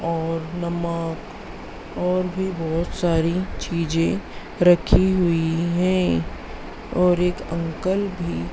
और नमक और भी बहोत सारी चीजें रखी हुई हैं और एक अंकल भी--